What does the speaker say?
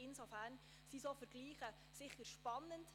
Insofern sind solche Vergleiche sicher spannend.